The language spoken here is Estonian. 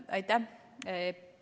Aitäh!